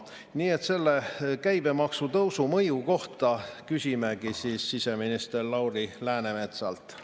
Nii et selle käibemaksu tõusu mõju kohta küsimegi siseminister Lauri Läänemetsalt.